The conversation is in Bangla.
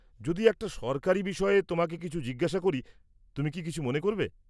যদি একটা সরকারী বিষয়ে তোমাকে কিছু জিজ্ঞেস করি, তুমি কি কিছু মনে করবে?